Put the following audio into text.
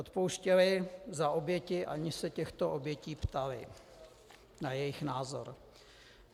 Odpouštěli za oběti, aniž se těchto obětí ptali na jejich názor.